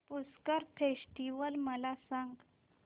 Pushkar festival मला सांग